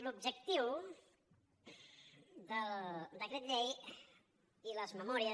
l’objectiu del decret llei i les memòries